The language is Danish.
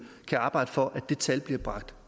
kan arbejde for at det tal bliver bragt